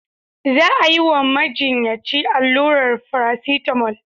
Za a yi wa majinyaci allurar farasitamol.